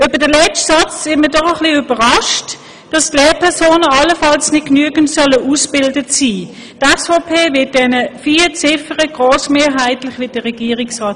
Über den letzten Satz, dass die Lehrpersonen allenfalls nicht genügend ausgebildet sein sollen, sind wir doch etwas überrascht.